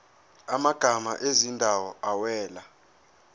amagama ezindawo awela